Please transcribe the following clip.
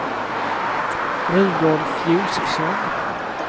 Rudolf Josefsson